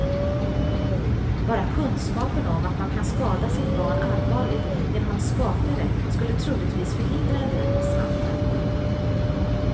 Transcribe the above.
Bara kunskapen om att man kan skada sitt barn allvarligt genom att skaka det skulle troligtvis förhindra en del misshandel.